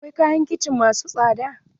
Akwai kayan kicin masu tsada.